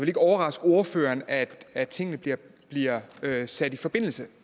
ikke overraske ordføreren at at tingene bliver sat i forbindelse